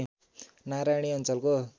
नारायणी अञ्चलको